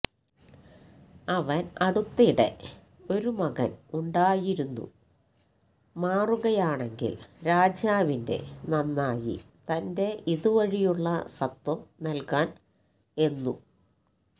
അവൻ അടുത്തിടെ ഒരു മകൻ ഉണ്ടായിരുന്നു മാറുകയാണെങ്കിൽ രാജാവിന്റെ നന്നായി തന്റെ ഇതുവഴിയുള്ള സത്വം നൽകാൻ എന്നു